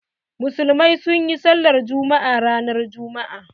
Musulmai sun yi sallar Juma'a a ranar Juma'a.